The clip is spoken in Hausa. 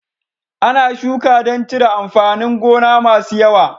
Ana shuka dan cire amfanin gona masu yawa